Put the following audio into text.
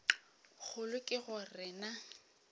kgolo ke go re na